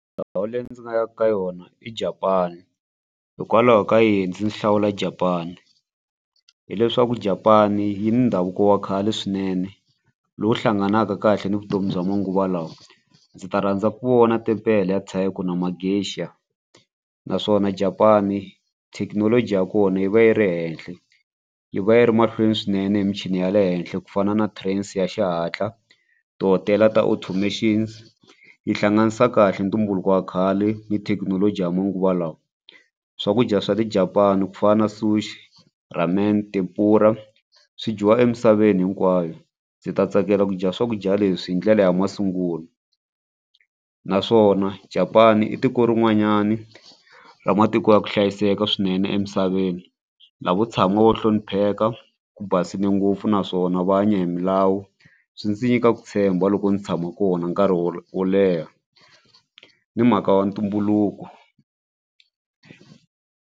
Ndhawu leyi ndzi nga yaka ka yona i Japan hikwalaho ka yini ndzi hlawula Japan hileswaku Japan yi ndhavuko wa khale swinene lowu hlanganaka kahle ni vutomi bya manguva lawa ndzi ta rhandza ku vona timpele ya and naswona Japan thekinoloji ya kona yi va yi ri henhla yi va yi ri mahlweni swinene hi michini ya le henhla ku fana na trains ya xihatla tihotela ta automations yi hlanganisa kahle ntumbuluko wa khale ni thekinoloji ya manguva lawa. Swakudya swa Japan ku fana na sushi, ramen na swi dyiwa emisaveni hinkwayo ndzi ta tsakela ku dya swakudya leswi hi ndlela ya masungulo naswona Japan i tiko rin'wanyani ra matiko ya ku hlayiseka swinene emisaveni lavo tshama wo hlonipheka ku basile ngopfu naswona va hanya hi milawu swi ndzi nyika ku tshemba loko ndzi tshama kona nkarhi wo wo leha ni mhaka wa ntumbuluko.